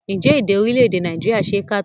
Ǹjẹ́ èdè orílẹ̀èdè Nàìjíríà ṣe é kà tán?